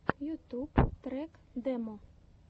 ютуб трек демо